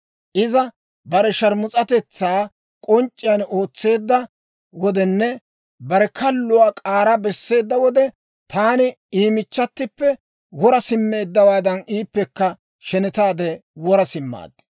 Iza bare sharmus'atetsaa k'onc'c'iyaan ootseedda wodenne bare kalluwaa k'aara besseedda wode, taani I michchatippe wora simmeeddawaadan, iippekka shenetaade wora simmaad.